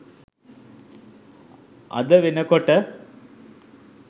අද වෙනකොට